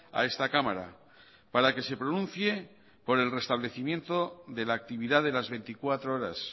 a esta cámara para que se pronuncie por el restablecimiento de la actividad de las veinticuatro horas